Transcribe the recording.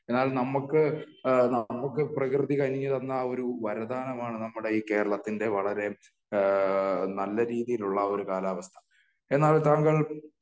എന്നാൽ നമ്മക്ക് നമ്മക്ക് പ്രകൃതി കനിഞ്ഞു തന്ന ഒരു വരദാനമാണ് നമ്മുടെ ഈ കേരളത്തിന്റെ വളരെ നല്ല രീതിയിലുള്ള ഒരു കാലാവസ്ഥ. എന്നാൽ താങ്കൾ